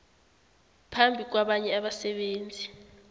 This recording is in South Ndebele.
phambi kwabanye abasebenzi